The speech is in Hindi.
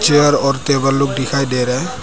चेयर और टेबल लोग दिखाई दे रहा है।